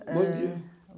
É... Bom dia.